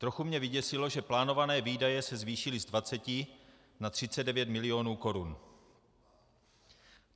Trochu mě vyděsilo, že plánované výdaje se zvýšily z 20 na 39 milionů korun.